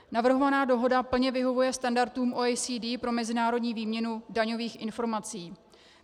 Navrhovaná dohoda plně vyhovuje standardům OECD pro mezinárodní výměnu daňových informací.